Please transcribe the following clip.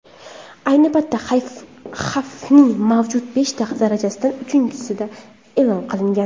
Ayni paytda xavfning mavjud beshta darajasidan uchinchisi e’lon qilingan.